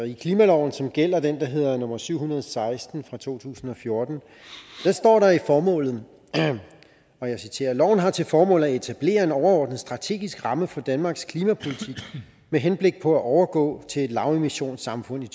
i klimaloven som gælder den der hedder nummer syv hundrede og seksten fra to tusind og fjorten står der i formålet og jeg citerer loven har til formål at etablere en overordnet strategisk ramme for danmarks klimapolitik med henblik på at overgå til et lavemissionssamfund i